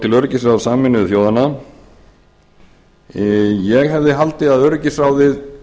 til öryggisráðs sameinuðu þjóðanna ég hefði haldið að öryggisráðið